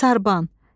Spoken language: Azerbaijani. Sarban.